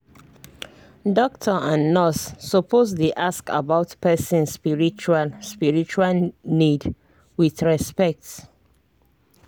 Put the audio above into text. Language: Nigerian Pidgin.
doctor and nurse suppose dey ask about person spiritual spiritual needs with respect